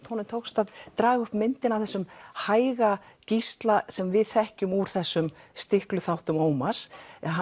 honum tókst að draga upp myndina af þessum hæga Gísla sem við þekkjum úr þessum stiklu þáttum Ómars